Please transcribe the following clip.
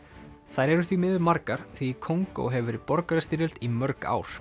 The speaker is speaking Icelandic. þær eru því miður margar því í Kongó hefur verið borgarastyrjöld í mörg ár